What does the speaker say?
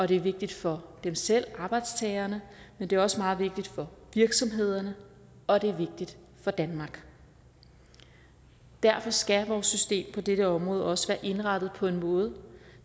det er vigtigt for dem selv arbejdstagerne men det er også meget vigtigt for virksomhederne og det er vigtigt for danmark derfor skal vores system på dette område også være indrettet på en måde